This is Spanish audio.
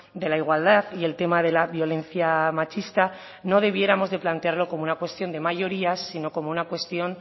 de la igualdad y el tema de la violencia machista no debiéramos de plantearlo como una cuestión de mayorías sino como una cuestión